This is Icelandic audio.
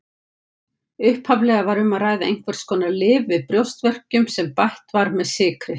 Upphaflega var um að ræða einhvers konar lyf við brjóstverkjum sem bætt var með sykri.